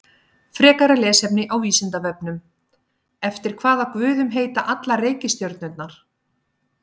Frekara lesefni á Vísindavefnum: Eftir hvaða guðum heita allar reikistjörnurnar?